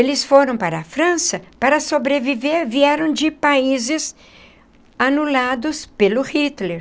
Eles foram para a França para sobreviver, vieram de países anulados pelo Hitler.